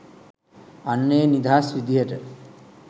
අන්න ඒ නිදහස් විදිහට